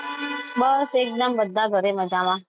બસ એકદમ બધા ઘરે મજામાં.